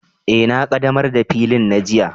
E, na ƙaɗamar da faƴil na jiya